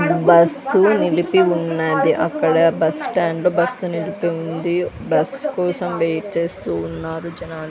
Bus నిలిపి ఉన్నది అక్కడ బస్టాండ్ లో బస్సు నిలిపి ఉంది బస్ కోసం వెయిట్ చేస్తూ ఉన్నారు జనాలు.